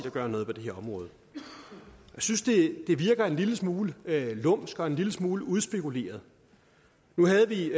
gør noget på det her område jeg synes det virker en lille smule lumsk og en lille smule udspekuleret nu havde vi